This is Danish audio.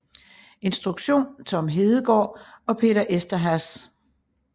Instruktion Tom Hedegaard og Peter Eszterhás